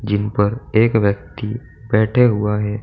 यही पर एक व्यक्ति बैठे हुआ है।